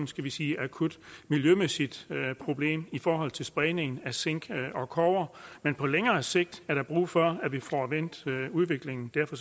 skal vi sige akut miljømæssigt problem i forhold til spredningen af zink og kobber men på længere sigt er der brug for at vi får vendt udviklingen derfor